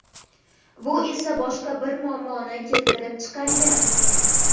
Bu esa boshqa bir muammoni keltirib chiqargan.